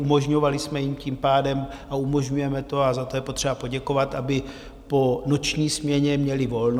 Umožňovali jsme jim tím pádem - a umožňujeme to a za to je potřeba poděkovat - aby po noční směně měli volno.